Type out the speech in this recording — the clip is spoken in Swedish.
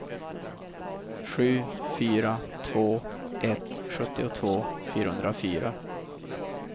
sju fyra två ett sjuttiotvå fyrahundrafyra